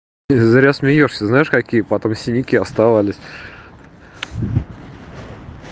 и зря смеёшься знаешь какие потом синяки оставались